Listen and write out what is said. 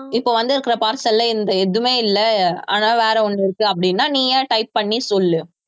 இப்ப வந்திருக்கிற parcel ல இந்த எதுவுமே இல்லை ஆனா வேற ஒண்ணு இருக்கு அப்படின்னா நீயே type பண்ணி சொல்லு